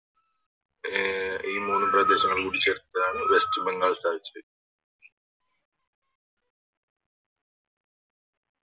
അഹ് ഈ മൂന്ന് കൂട്ടി ചേർത്തിട്ടാണ് വെസ്റ്റ് ബംഗാൾ സ്ഥാപിച്ചത്